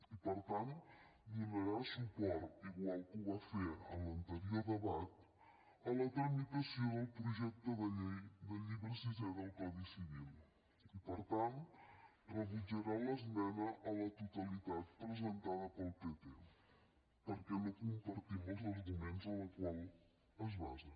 i per tant donarà suport igual que ho va fer en l’anterior debat a la tramitació del projecte de llei del llibre sisè del codi civil i per tant rebutjarà l’esmena a la totalitat presentada pel pp perquè no compartim els arguments en la qual es basa